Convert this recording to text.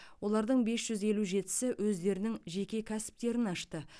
олардың бес жүз елу жетісі өздерінің жеке кәсіптерін ашты